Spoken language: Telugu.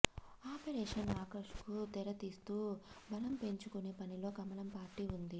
ఆపరేషన్ ఆకర్ష్కు తెర తీస్తూ బలం పెంచుకునే పనిలో కమలం పార్టీ ఉంది